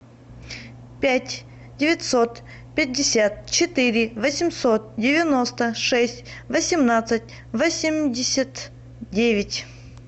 пять девятьсот пятьдесят четыре восемьсот девяносто шесть восемнадцать восемьдесят девять